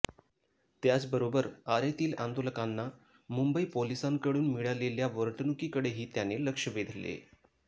त्याचबरोबर आरेतील आंदोलकांना मुंबई पोलिसांकडून मिळालेल्या वर्तणुकीकडेही त्याने लक्ष वेधले